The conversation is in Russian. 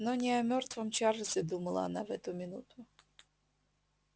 но не о мёртвом чарлзе думала она в эту минуту